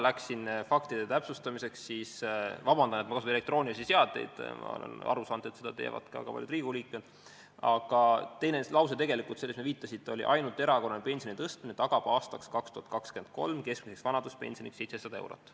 Kui juba siin läks täpsustamiseks – palun vabandust, et ma kasutan elektroonilisi seadmeid, kuid ma olen aru saanud, et seda teevad ka paljud Riigikogu liikmed –, siis teine lause, millele te viitasite, oli tegelikult see: "Ainult erakorraline pensionide tõstmine tagab aastaks 2023 keskmiseks vanaduspensioniks 700 eurot.